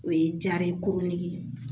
O ye jara ye koron nege